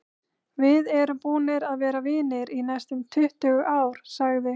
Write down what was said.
Við erum búnir að vera vinir í næstum tuttugu ár, sagði